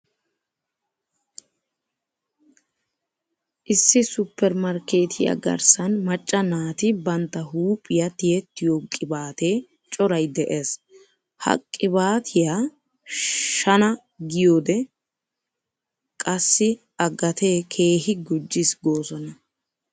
Issi supper markeetiyaa garssan macca naati bantta huuphiyaa tiyettiyoo qibaatee coray de'es. He qibaatiyaa shana giyoode qassi a gatee keehi gujjis goosona.